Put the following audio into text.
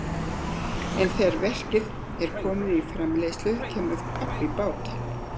En þegar verkið er komið í framleiðslu kemur babb í bátinn.